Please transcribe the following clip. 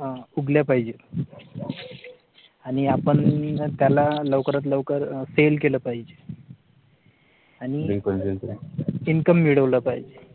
अह उगल पाहिजे आणि आपण त्याला लवकरात लवकर अह FAIL केलं पाहिजे आणि income मिळवला पाहिजे.